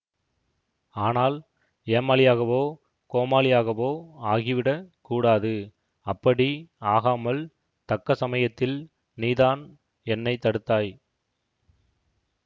ஆனால் ஏமாளியகவோ கோமாளியாகவோ ஆகிவிடக் கூடாது அப்படி ஆகாமல் தக்க சமயத்தில் நீதான் என்னை தடுத்தாய்